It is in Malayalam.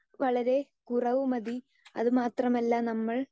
സ്പീക്കർ 2 വളരെ കുറവു മതി അത് മാത്രമല്ല നമ്മൾ